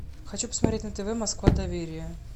хочу посмотреть на тв москва доверие